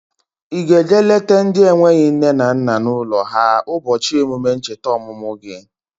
Ị ga-eje lete ndị enweghị nne na nna n'ụlọ ha ụbọchị emume ncheta ọmụmụ gi?